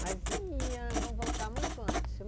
Mas ia, vamos voltar muito antes.